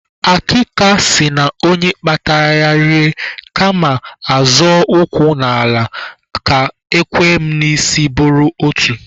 Akịka sị na onye kpata ya rie kama a zọọ ụkwụ n'ala ka ekwem n'isi buru otu.